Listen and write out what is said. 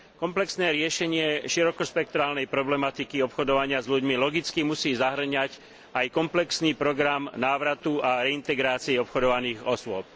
Komplexné riešenie širokospektrálnej problematiky obchodovania s ľuďmi logicky musí zahŕňať aj komplexný program návratu a integrácie obchodovaných osôb.